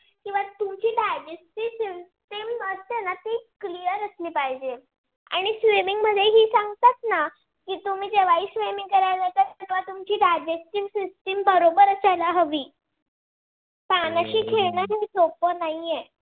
असली पाहिजे. आणि swimming मध्ये हि सांगतात ना की तुम्ही जेव्हाही swimming करायला जाता तेव्हा तुमची digestive system बरोबर असायला हवी पाण्याशी खेळन काही सोप नाही आहे.